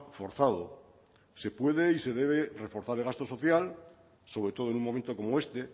forzado se puede y se debe reforzar el gasto social sobre todo en un momento como este